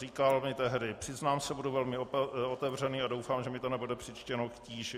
Říkal mi tehdy: Přiznám se, budu velmi otevřený a doufám, že mi to nebude přičteno k tíži.